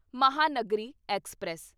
Mahanagari express